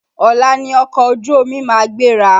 Ọ̀la ni ọkọ̀ ojú omi ma gbéra.